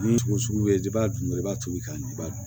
Ni sugu bɛ b'a dun dɔrɔn i b'a to i ka dun i b'a dun